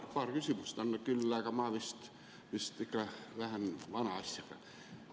Paar küsimust on küll, aga ma vist ikka lähen vana asjaga edasi.